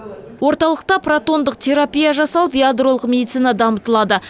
орталықта протондық терапия жасалып ядролық медицина дамытылады